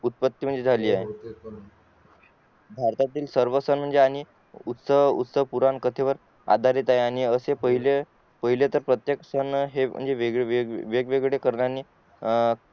उत्पत्ती झाली आहे भारतातील सर्व सण म्हणजे आणि उस्तव पुराण कथेवर आधारित आहे आणि पाहिले प्रत्येक सण हे वेगवेगळे